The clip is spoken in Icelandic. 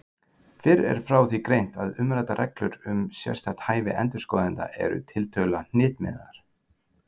Fyrr er frá því greint að umræddar reglur um sérstakt hæfi endurskoðenda eru tiltölulega hnitmiðaðar.